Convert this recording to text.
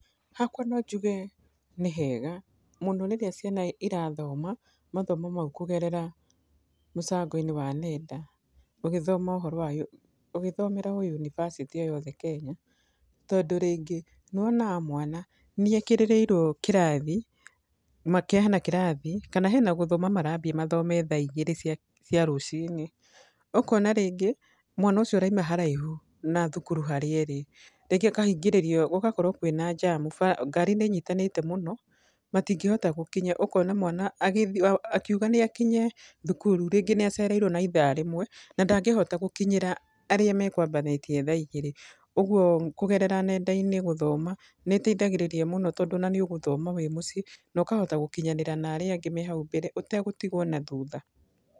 Hakwa no njuge ni hega mũno rĩrĩa ciana irathoma mathomo mau kũgerera mũtambo-inĩ wa nenda ũgĩthoma ũhoro wa, ũgĩthomera o yunibacĩtĩ o yothe Kenya. Tondũ rĩngĩ nĩ wonaga mwana nĩ ekĩrĩrĩirwo kĩrathi hena kĩrathi, kana hena gũthoma marambia mathome thaa igĩrĩ cia cia rũcinĩ, ũkona rĩngĩ mwana ũcio arauma haraihu na thukuru harĩa ĩrĩ , rĩngĩ akahingĩrĩrio, gũgakorwo kwĩna njamu, ngari nĩinyitanĩte mũno, matingĩhota gũkinya. Ũkona mwana agĩthiĩ, akiuga nĩ akinye thukuru, rĩngĩ nĩacereirwo na ithaa rĩmwe, na ndangĩhota gũkinyĩra arĩa makwambanĩtie thaa igĩrĩ. Ũguo kũgerera nenda-inĩ gũthoma nĩĩteithagĩrĩria mũno tondũ ona nĩũgũthoma wĩ mũciĩ, na ũkahota gũkinyanĩra narĩa angĩ me hau mbere ũtagũtigwo na thutha.